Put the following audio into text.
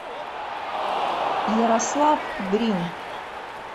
ярослав брин